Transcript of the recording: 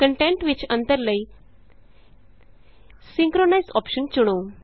content ਵਿਚ ਅੰਤਰ ਲਈ ਸਿੰਕ੍ਰੋਨਾਈਜ਼ ਅੋਪਸ਼ਨ ਚੁਣੋ